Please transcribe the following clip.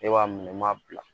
Ne b'a minɛ n m'a bila